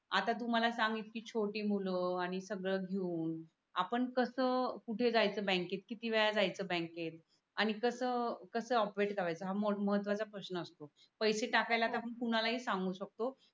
आता तु मला सांग इतकी छोटी मूल आणि सगड घेऊन आपण कस कुठ जायच बँककेत किती वेळा जायच बँककेत आणि कस कस ओपरेट करायच हा महत्वाचा प्रश्न असतो पैसे टाकायला तर कुणाला ही सांगू शकतो